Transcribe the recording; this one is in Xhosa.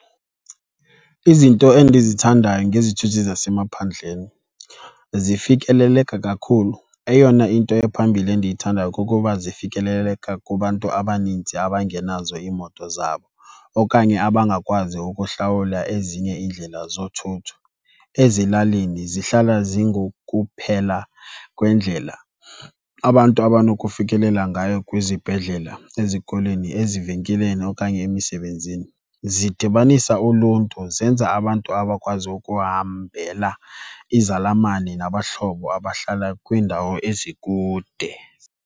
Izinto endizithandayo ngezithuthi zasemaphandleni zifikeleleka kakhulu. Eyona into ephambilli endiyithandayo kukuba zifikeleleka kubantu abaninzi abangenazo iimoto zabo okanye abangakwazi ukuhlawula ezinye iindlela zothutho. Ezilalini zihlala zingokuphela kwendlela abantu abanokufikelela ngayo kwizibhedlela, ezikolweni, ezivenkileni okanye emisebenzini. Zidibanisa uluntu, zenza abantu abakwazi ukuhambela izalamane nabahlobo abahlala kwiindawo ezikude.